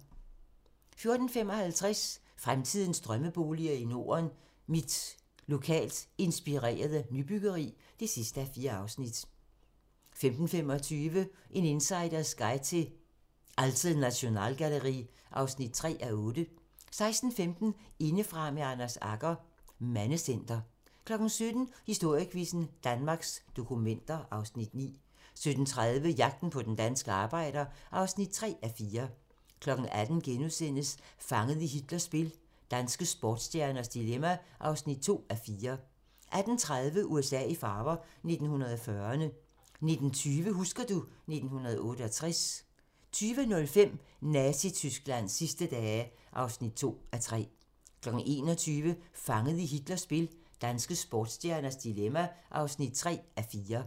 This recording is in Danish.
14:55: Fremtidens drømmeboliger i Norden: Mit lokalt inspirerede nybyggeri (4:4) 15:25: En insiders guide til Alte Nationalgalerie (3:8) 16:15: Indefra med Anders Agger - Mandecenter 17:00: Historiequizzen: Danmarks dokumenter (Afs. 9) 17:30: Jagten på den danske arbejder (3:4) 18:00: Fanget i Hitlers spil - danske sportsstjerners dilemma (2:4)* 18:30: USA i farver - 1940'erne 19:20: Husker du ... 1968 20:05: Nazi-Tysklands sidste dage (2:3) 21:00: Fanget i Hitlers spil - danske sportsstjernes dilemma (3:4)